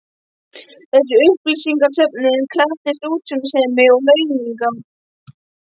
Þessi upplýsingasöfnun krafðist útsjónarsemi og launungar.